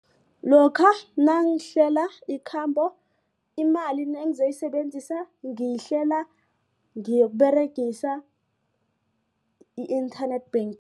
Lokha nangihlela ikhambo imali nangizoyisebenzisa ngiyihlela ngiyokuberegisa i-internet